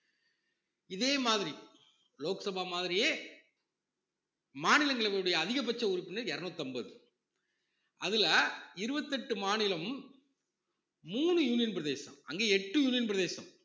இதே மாதிரி லோக்சபா மாதிரியே மாநிலங்களவையுடைய அதிகபட்ச உறுப்பினர் இருநூத்தி அம்பது அதுல இருவத்தி எட்டு மாநிலம் மூணு union பிரதேசம் அங்க எட்டு union பிரதேசம்